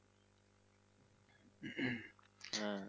হ্যা।